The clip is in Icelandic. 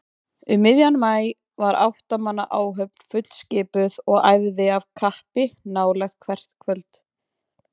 Um miðjan maí var átta manna áhöfn fullskipuð og æfði af kappi nálega hvert kvöld.